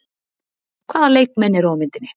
Hvaða leikmenn eru á myndinni?